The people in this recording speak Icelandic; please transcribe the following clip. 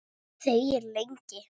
Þegir lengi.